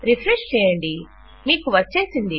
refresh చేయండి మీకు వచ్చేసింది